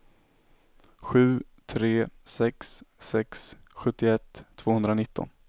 sju tre sex sex sjuttioett tvåhundranitton